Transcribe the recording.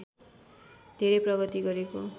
धेरै प्रगति गरेको